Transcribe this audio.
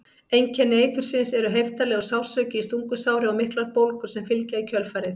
Einkenni eitursins eru heiftarlegur sársauki í stungusári og miklar bólgur sem fylgja í kjölfarið.